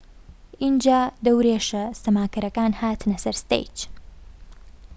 ئینجا دەورێشە سەماکەرەکان هاتنە سەر ستەیج